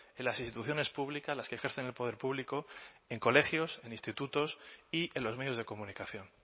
en las instituciones públicas las que ejercen el poder público en colegios en institutos y en los medios de comunicación